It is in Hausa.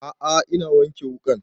A'a ina wanke wuƙan